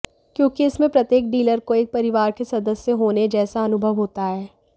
क्योंकि इसमें प्रत्येक डीलर को एक परिवार के सदस्य होने जैसा अनुभव होता है